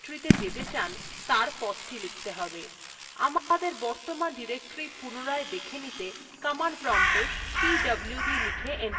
আমাদের বর্তমান directory পুনরায় দেখে নিতে command promptএ pwd লিখে enter টিপুন